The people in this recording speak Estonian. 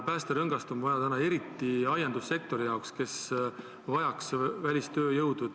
Päästerõngast on täna vaja eriti aiandussektoril, kes vajaks välistööjõudu.